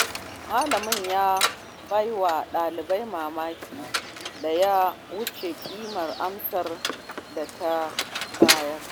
Malamin ya baiwa ɗalibar makin da ya wuce kimar amsar da ta bayar.